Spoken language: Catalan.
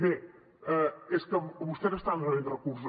bé és que vostès estan rebent recursos